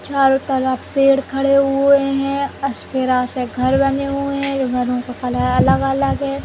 छारो तरफ पेड़ खड़े हुए हैं। से घर बने हुए हैं। ये घरों का कलर अगल-अगल है।